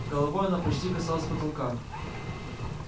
головой она почти касалась потолка